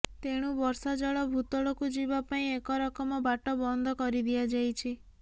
ତେଣୁ ବର୍ଷା ଜଳ ଭୂତଳକୁ ଯିବା ପାଇଁ ଏକରକମ ବାଟ ବନ୍ଦ କରିଦିଆଯାଇଛି